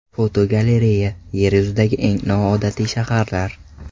Fotogalereya: Yer yuzidagi eng noodatiy shaharlar.